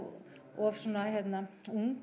of svona ung